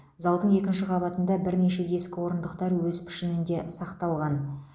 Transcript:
залдың екінші қабатында бірнеше ескі орындықтар өз пішінінде сақталған